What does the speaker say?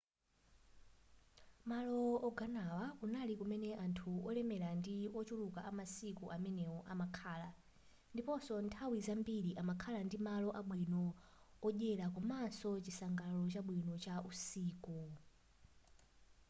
malo ogonawa kunali kumene anthu olemela ndi otchuka amasiku amenewo amakhala ndiponso nthawi zambiri amakhala ndi malo abwino odyela komanso chisangalalo chabwino cha usiku